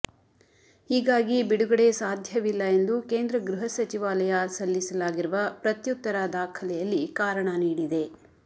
ಹೀಗಾಗಿ ಬಿಡುಗಡೆ ಸಾಧ್ಯವಿಲ್ಲ ಎಂದು ಕೇಂದ್ರ ಗೃಹ ಸಚಿವಾಲಯ ಸಲ್ಲಿಸಲಾಗಿರುವ ಪ್ರತ್ಯುತ್ತರ ದಾಖಲೆಯಲ್ಲಿ ಕಾರಣ ನೀಡಿದೆ